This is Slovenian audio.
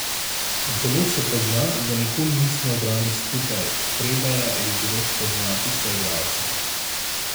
Zelo se pozna, da nikoli nismo igrali skupaj, treba je bilo spoznati soigralce.